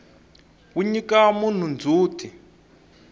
wu nyika munhu ndzhuti